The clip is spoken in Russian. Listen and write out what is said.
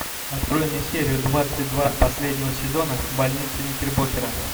открой мне серию двадцать два последнего сезона больница никербокера